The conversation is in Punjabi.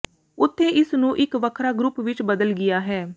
ਉੱਥੇ ਇਸ ਨੂੰ ਇੱਕ ਵੱਖਰਾ ਗਰੁੱਪ ਵਿੱਚ ਬਦਲ ਗਿਆ ਹੈ